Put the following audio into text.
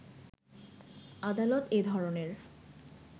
আদালত এ ধরনের